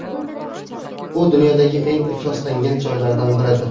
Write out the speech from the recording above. U dunyodagi eng ifloslangan joylardan biridir.